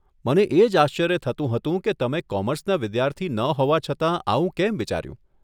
મને એજ આશ્ચર્ય થતું હતું કે તમે કોમર્સના વિદ્યાર્થી ન હોવા છતાં આવું કેમ વિચાર્યું?